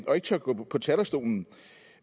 og ikke tør gå på talerstolen